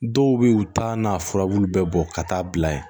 Dɔw bɛ yen u t'a n'a furabulu bɛɛ bɔ ka taa'a bila yen